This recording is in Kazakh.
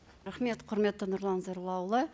рахмет құрметті нұрлан зайроллаұлы